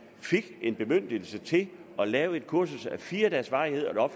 fik en bemyndigelse til at lave et kursus af fire dages varighed